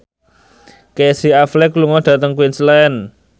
Casey Affleck lunga dhateng Queensland